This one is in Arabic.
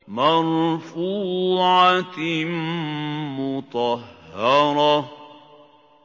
مَّرْفُوعَةٍ مُّطَهَّرَةٍ